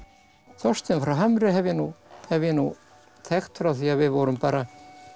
Þorstein frá Hamri hef ég hef ég nú þekkt frá því við vorum bara